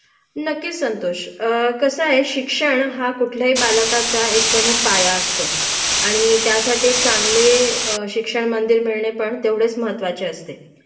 नक्कीच संतोष कसंय शिक्षण हा कुठल्याही बालकाचा एक प्रमुख पाया असतो आणि त्यासाठी चांगले शिक्षणमंदिर मिळणे पण तेवढेच महत्वाचे असते